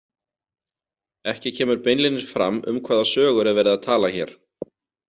Ekki kemur beinlínis fram um hvaða sögur er verið að tala hér.